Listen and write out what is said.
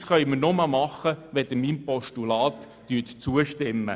Das können wir nur tun, wenn Sie meinem Postulat zustimmen.